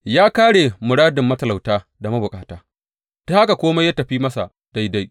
Ya kāre muradin matalauta da mabukata, ta haka kome ya tafi masa daidai.